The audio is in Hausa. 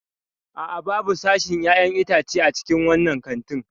A'a, babu sashin 'ya'yan itace a cikin wannan kantin.